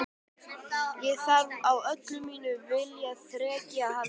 Ég þarf á öllu mínu viljaþreki að halda.